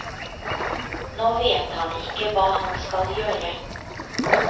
Nå vet han ikke hva han skal gjøre.